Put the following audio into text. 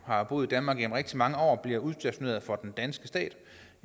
har boet i danmark i rigtig mange år bliver udstationeret for den danske stat